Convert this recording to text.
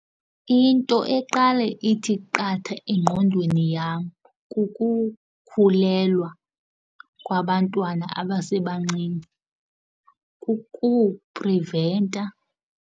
Into eqale ithi qatha engqondweni yam kukukhulelwa kwabantwana abasebancinci kukupriventa.